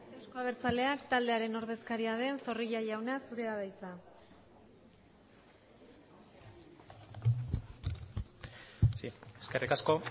euzko abertzaleak taldearen ordezkaria den zorrilla jauna zurea da hitza sí eskerrik asko